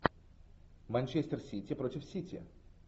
манчестер сити против сити